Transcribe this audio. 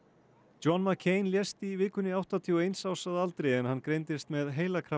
John lést í vikunni áttatíu og eins árs að aldri en hann greindist með